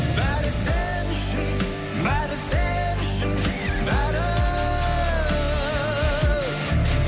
бәрі сен үшін бәрі сен үшін бәрі